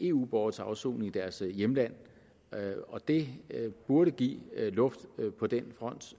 eu borgere til afsoning i deres hjemland og det burde give luft på den front så